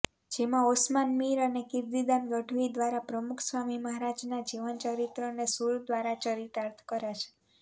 જેમાં ઓસમાન મીર અને કિર્તીદાન ગઢવી દ્વારાપ્રમુખસ્વામી મહારાજના જીવન ચરિત્રને સુર દ્વારા ચરિતાર્થ કરાશે